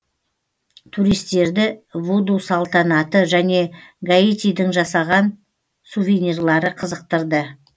туристтерді вуду салтанаты және гаитидың жасалған сувенирлары қызықтырды